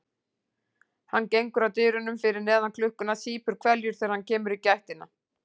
Hann gengur að dyrunum fyrir neðan klukkuna, sýpur hveljur þegar hann kemur í gættina.